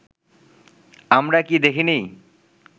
আমরা কি দেখিনি